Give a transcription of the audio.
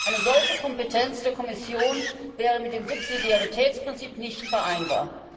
Eine solche Kompetenz der Kommission wäre mit dem Subsidiaritätsprinzip nicht vereinbar.